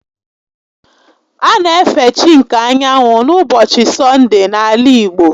A na efe chi nke anyanwụ n'ụbọchị Sọndee n'ala igbo